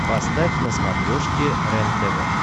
поставь на смотрешке рентв